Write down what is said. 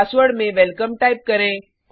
password में welcome type करें